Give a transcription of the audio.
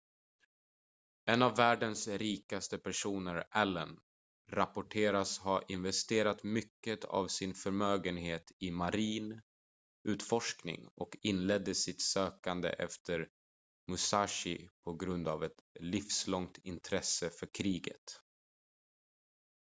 en av världens rikaste personer allen rapporteras ha investerat mycket av sin förmögenhet i marin utforskning och inledde sitt sökande efter musashi på grund av ett livslångt intresse för kriget